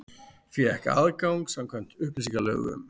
Fékk aðgang samkvæmt upplýsingalögum